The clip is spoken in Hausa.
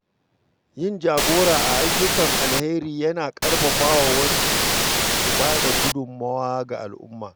Yin jagora a ayyukan alheri yana ƙarfafa wasu su ba da gudunmawa ga al’umma.